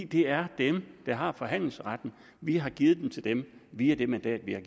det er dem der har forhandlingsretten vi har givet den til dem via det mandat vi har